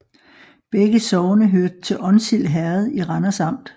Begge sogne hørte til Onsild Herred i Randers Amt